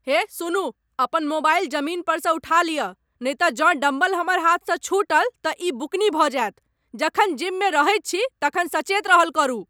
हे सुनू, अपन मोबाइल जमीन परसँ उठा लियऽ, नहि तँ जँ डम्बल हमर हाथसँ छूटल तँ ई बुकनी भऽ जायत, जखन जिममे रहैत छी तखन सचेत रहल करू।